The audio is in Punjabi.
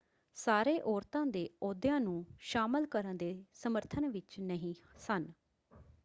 ਸਾਰੇ ਔਰਤਾਂ ਦੇ ਅਹੁਦਿਆਂ ਨੂੰ ਸ਼ਾਮਲ ਕਰਨ ਦੇ ਸਮਰਥਨ ਵਿੱਚ ਨਹੀਂ ਸਨ